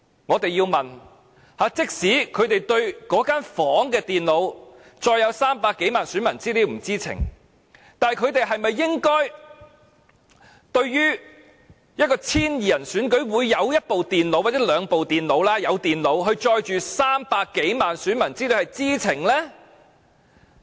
我們要問，即使他們對於那間房間中，有電腦載有300多萬名選民資料不知情，但對於 1,200 人的選舉中，有一部或兩部電腦載有300多萬名選民資料，他們是否應該知情呢？